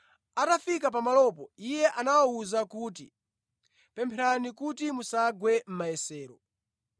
Atafika pamalopo, Iye anawawuza kuti, “Pempherani kuti musagwe mʼmayesero.”